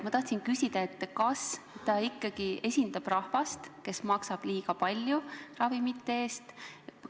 Ma tahtsin teada, kas ta ikkagi esindab rahvast, kes maksab ravimite eest liiga palju.